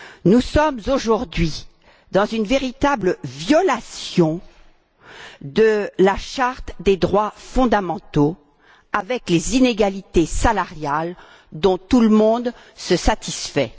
Nous sommes aujourd'hui dans une véritable violation de la Charte des droits fondamentaux du fait des inégalités salariales dont tout le monde se satisfait.